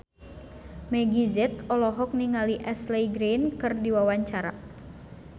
Meggie Z olohok ningali Ashley Greene keur diwawancara